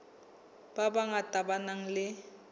ba bangata ba nang le